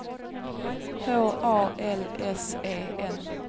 H A L S E N